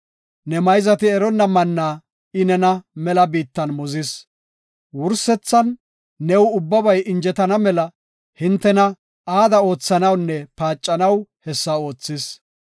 Ne mayzati eronna mannaa I nena mela biittan muzis. Wursethan new ubbabay injetana mela nena aada oothanawunne paacanaw hessa oothis.